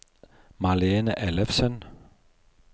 Malene Ellefsen